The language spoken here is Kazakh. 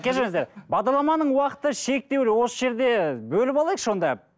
кешіріңзідер бағдарламаның уақыты шектеулі осы жерде бөліп алайықшы онда